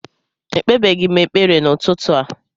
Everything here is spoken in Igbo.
Ekpebeghị m ekpere n'ụtụtụ a